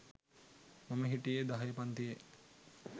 මම හිටියෙ දහයෙ පන්තියෙ